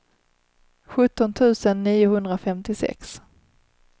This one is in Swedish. sjutton tusen niohundrafemtiosex